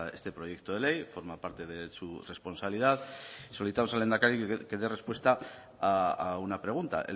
este proyecto de ley forma parte de su responsabilidad y solicitamos al lehendakari que dé respuesta a una pregunta